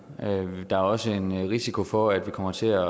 der er også en risiko for at vi kommer til at